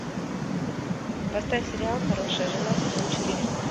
поставь сериал хорошая жена сезон четыре